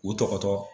U tɔgɔ